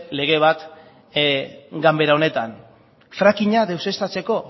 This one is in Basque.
lege bat ganbera honetan frackinga deuseztatzeko